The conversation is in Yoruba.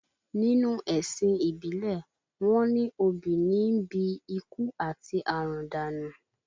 Nínú ẹ̀sìn ìbílẹ̀, wọ́n ní obì níí bi ikú àti àrùn dànù